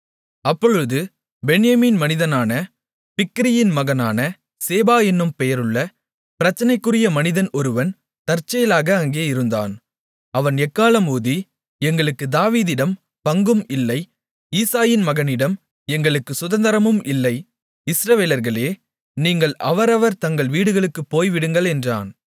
அப்பொழுது பென்யமீன் மனிதனான பிக்கிரியின் மகனான சேபா என்னும் பெயருள்ள பிரச்சினைக்குரிய மனிதன் ஒருவன் தற்செயலாக அங்கே இருந்தான் அவன் எக்காளம் ஊதி எங்களுக்கு தாவீதிடம் பங்கும் இல்லை ஈசாயின் மகனிடம் எங்களுக்குச் சுதந்தரமும் இல்லை இஸ்ரவேலர்களே நீங்கள் அவரவர் தங்கள் வீடுகளுக்குப் போய்விடுங்கள் என்றான்